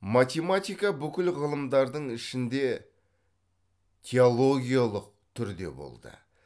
математика бүкіл ғылымдардың ішінде теологиялық түрде болды